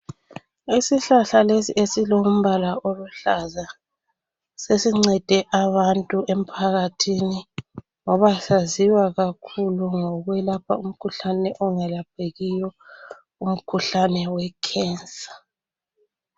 Isihlahla lesi esilombala oluhlaza sesincede abantu emphakathini ngoba saziwa kakhulu ngokwelapha umkhuhlane ongalaphekiyo. Umkhuhlane weCancer.